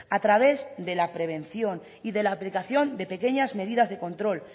a través de la prevención y de la aplicación de pequeñas medidas de control